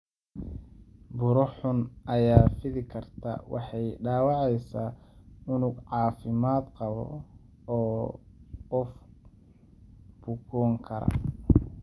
Buro xun ayaa fidi karta, waxay dhaawacaysaa unug caafimaad qaba, oo qof bukoon kara.